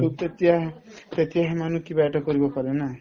to তেতিয়া তেতিয়াহে মানুহ কিবা এটা কৰিব পাৰে না